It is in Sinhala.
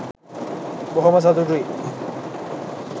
බොහොම සතුටුයි